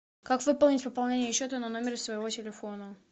как выполнить пополнение счета на номер своего телефона